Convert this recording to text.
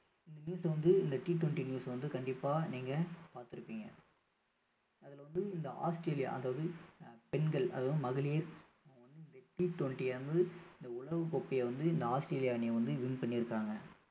இந்த news அ வந்து இந்த TTWENTYnews அ வந்து கண்டிப்பா நீங்க பார்த்திருப்பீங்க அதுல வந்து இந்த ஆஸ்திரேலியா அதாவது அஹ் பெண்கள் அதாவது மகளிர் T twenty இந்த உலக கோப்பையை வந்து இந்த ஆஸ்திரேலியா அணியை வந்து win பண்ணியிருக்காங்க